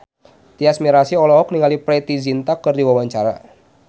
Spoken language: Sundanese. Tyas Mirasih olohok ningali Preity Zinta keur diwawancara